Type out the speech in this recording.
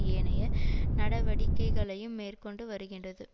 ஏனைய நடவடிக்கைகளையும் மேற்கொண்டு வருகின்றது